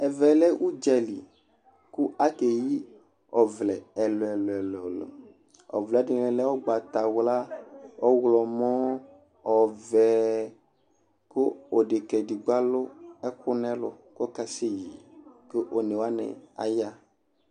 Ɛvɛ lɛ udza li, ku ake yi ɔvlɛ ɛlu ɛlu ɛlu ɛlu, ɔvlɛ ɛdini lɛ ugbata wla, ɔwlɔmɔ, ɔvɛ ku odeka edigbo alu ɛku nu ɛlu ku ɔkase yi, ku one wani aya ɣa